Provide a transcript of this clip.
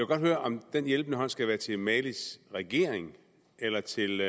godt høre om den hjælpende hånd skal være til malis regering eller til